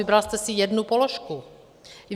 Vybral jste si jednu položku.